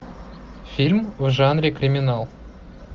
фильм в жанре криминал